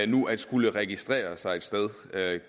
nu at skulle registrere sig et sted